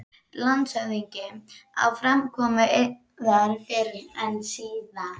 LANDSHÖFÐINGI: Á framkomu yðar fyrr og síðar.